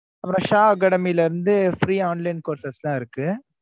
அப்பறம் SHAacademy ல இருந்து free online courses லாம் இருக்கு.